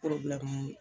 Kɔrɔbila man ɲi